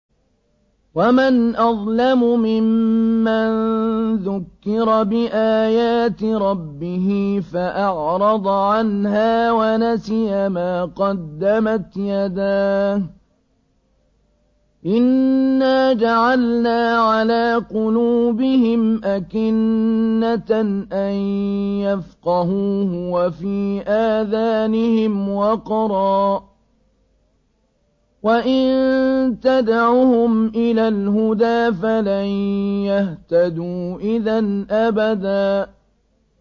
وَمَنْ أَظْلَمُ مِمَّن ذُكِّرَ بِآيَاتِ رَبِّهِ فَأَعْرَضَ عَنْهَا وَنَسِيَ مَا قَدَّمَتْ يَدَاهُ ۚ إِنَّا جَعَلْنَا عَلَىٰ قُلُوبِهِمْ أَكِنَّةً أَن يَفْقَهُوهُ وَفِي آذَانِهِمْ وَقْرًا ۖ وَإِن تَدْعُهُمْ إِلَى الْهُدَىٰ فَلَن يَهْتَدُوا إِذًا أَبَدًا